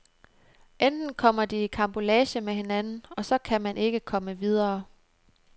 Enten kommer de i karambolage med hinanden, og så kan man ikke komme videre.